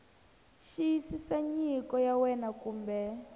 xiyisisa nyiko ya wena kumbe